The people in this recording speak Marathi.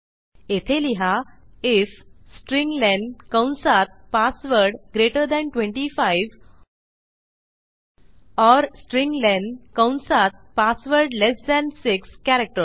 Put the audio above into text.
येथे लिहा आयएफ स्ट्र्लेन कंसात password greater than 25 or strlen कंसात पासवर्ड लेस थान 6 कॅरेक्टर्स